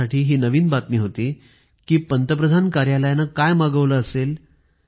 माझ्यासाठी हि नवीन बातमी होती की पंतप्रधान कार्यालयाने काय मागवल असेल